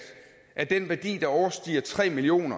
af den værdi der overstiger tre million